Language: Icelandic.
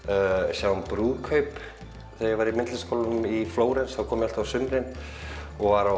sjá um brúðkaup þegar ég var í í Flórens kom ég alltaf á sumrin og var á